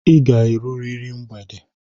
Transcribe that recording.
I ga-erurịrị mgbede!